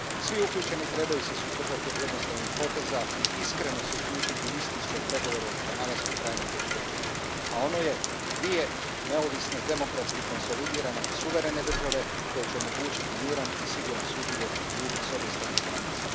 Svi uključeni trebaju se suzdržati od jednostranih poteza i iskreno se uključiti u istinske pregovore o pronalasku trajnog rješenja, a ono je dvije neovisne, demokratski konsolidirane suverene države, koje će omogućiti miran i siguran suživot ljudi s obje strane granice.